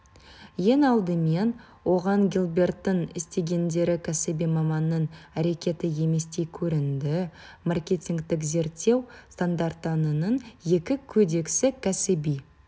ең алдымен оған гилберттің істегендері кәсіби маманның әрекеті еместей көрінді маркетингтік зерттеу стандарттарының екі кодексі кәсіби